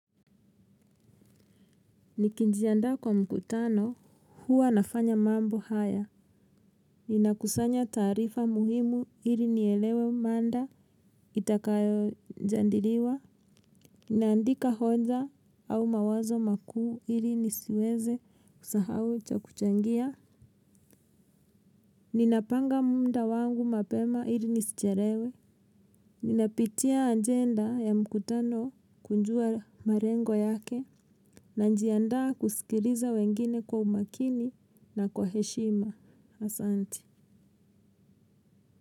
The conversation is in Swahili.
Nikijiandaa kwa mkutano, huwa nafanya mambo haya. Ninakusanya taarifa muhimu ili nielewe mada itakayojandiliwa, ninaandika hoja au mawazo makuu ili nisiweze kusahau cha kuchangia. Ninapanga muda wangu mapema ili nisichelewe. Ninapitia agenda ya mkutano kujua malengo yake. Najiandaa kusikiliza wengine kwa umakini na kwa heshima. Asante.